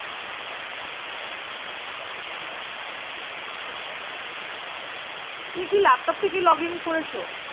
তুমি কি, laptop থেকে Log In করেছো